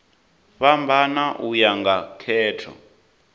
fhambana u ya nga khetho